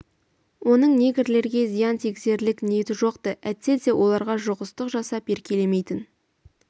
оның негрлерге зиян тигізерлік ниеті жоқ-ты әйтсе де оларға жұғыстық жасап еркелемейтін